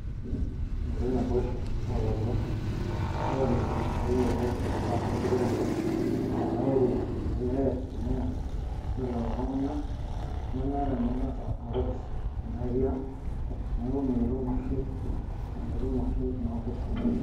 Metii naboisho oolaturok olangeni ooyiolo imbaa enkiremore tena area. Olee amuu ore lelo tunganak nemeeta ninye kwasa enkopis tena area ang niaku imikitum oshi, mikitim oshi ina opis enye